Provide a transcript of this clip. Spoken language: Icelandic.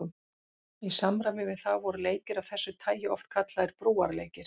Í samræmi við það voru leikir af þessu tagi oft kallaðir brúarleikir.